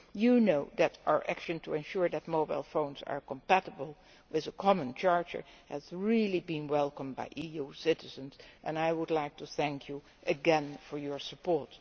You know that our action to ensure that mobile phones are compatible with a common charger has been welcomed by EU citizens, and I would like to thank you again for your support.